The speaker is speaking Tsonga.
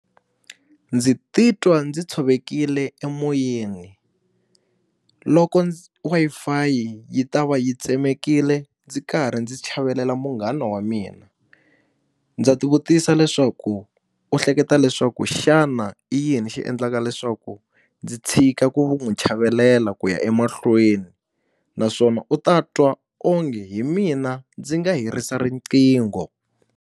Ndzi titwa ndzi tshovekile emoyeni, loko wi-fi yi ta va yi tsemekile ndzi karhi ndzi chavelela munghana wa mina. Ndza ti vutisa leswaku u hleketa leswaku xana i yini xi endlaka leswaku ndzi tshika ku n'wi chavelela ku ya emahlweni? Naswona u ta twa onge hi mina ndzi nga herisa riqingho.